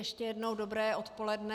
Ještě jednou dobré odpoledne.